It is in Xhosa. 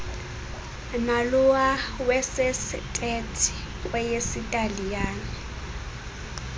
nalowa wesestethi kweyesitaliyane